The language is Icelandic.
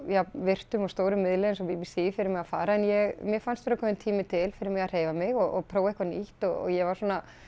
jafn virtum og stórum miðli og b b c fyrir mig að fara en mér fannst vera kominn tími til fyrir mig að hreyfa mig og prófa eitthvað nýtt og ég var svona